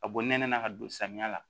Ka bɔ nɛnɛ na ka don samiya la